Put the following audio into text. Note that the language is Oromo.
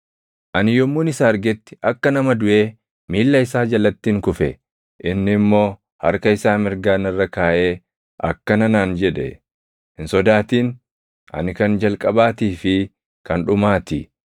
Ani yommuun isa argetti akka nama duʼee miilla isaa jalattin kufe. Inni immoo harka isaa mirgaa narra kaaʼee akkana naan jedhe: “Hin sodaatin. Ani kan Jalqabaatii fi kan Dhumaa ti.